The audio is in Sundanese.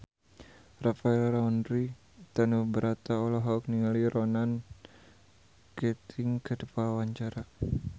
Rafael Landry Tanubrata olohok ningali Ronan Keating keur diwawancara